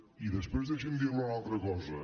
i després deixi’m dir li una altra cosa